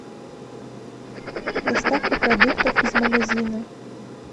доставка продуктов из магазина